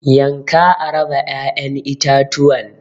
yanka a raba ya'yan itatuwan.